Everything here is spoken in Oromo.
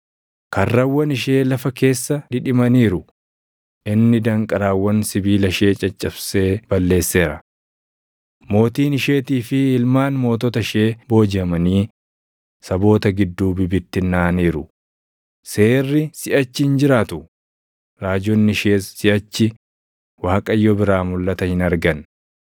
Karrawwan ishee lafa keessa dhidhimaniiru; inni danqaraawwan sibiila ishee caccabsee balleesseera. Mootiin isheetii fi ilmaan mootota ishee boojiʼamanii // saboota gidduu bibittinnaaʼaniiru; seerri siʼachi hin jiraatu; raajonni ishees siʼachi Waaqayyo biraa mulʼata hin argan.